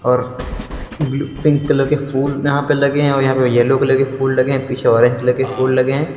और blue pink colour के फूल यहां पर लगे हैं और यहां पे येल्लो कलर के फूल लगे हैं। पीछे ऑरेंज कलर के फूल लगे हैं।